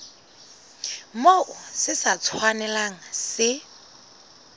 moo se sa tshwanelang se